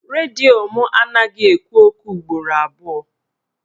Redio mụ anaghị ekwu okwu ugboro abụọ